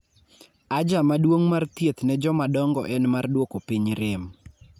aja maduong' mar thieth ne jomadongo en mar duoko piny rem